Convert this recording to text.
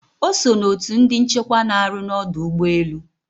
Ọ so na otu ndi nchekwa na arụ na ọdụ ụgbọelu